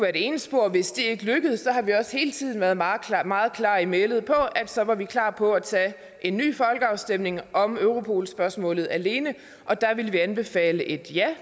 ene spor hvis det ikke lykkedes har vi også hele tiden været meget meget klare i mælet om at så var vi klar på at tage en ny folkeafstemning om europol spørgsmålet alene og der ville vi anbefale et ja